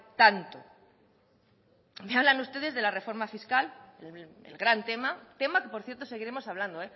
tanto me hablan ustedes de la reforma fiscal el gran tema tema que por cierto seguiremos hablando